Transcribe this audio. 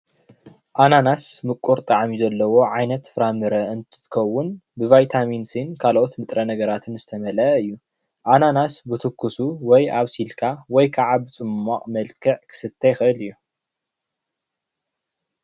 ኣናናስ ምቁር ጣዕሚ ዘለዎ ዓይነት ፍራ ምረ እንትትከውን ብቫይታሚን ሲን ከልኦት ንጥረ ነገራትን ዝተመለአ እዩ፡፡ ኣናናስ ብትኩሱ ወይ ኣብሲልካ ወይ ከዓ ፅሟቅ መልክዕ ክስተ ይክእል እዩ፡፡